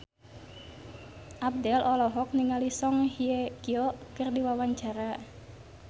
Abdel olohok ningali Song Hye Kyo keur diwawancara